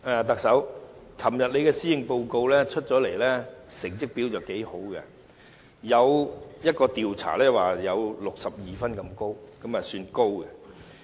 特首，昨天你的施政報告發表後，成績表現不俗，有一項調查表示有62分，分數算高。